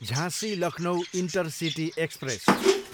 झाँसी, Lucknow intercity express